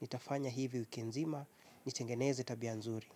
Nitafanya hivi wiki nzima nitengeneze tabia nzuri.